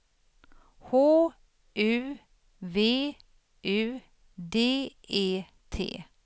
H U V U D E T